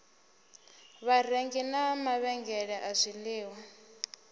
vharengi na mavhengele a zwiliṅwa